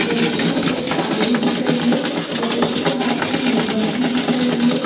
लेडिसें सफ़ेद साड़ी में दिख रही है लेडिसों के हाथ में मोमबत्ती दिख रही है।